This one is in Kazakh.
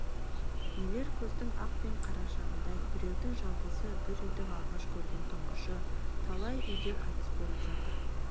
нелер көздің ақ пен қарашығындай біреудің жалғызы бір үйдің алғаш көрген тұңғышы талай үйде қайтыс боп жатыр